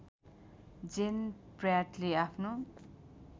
जेन प्र्याटले आफ्नो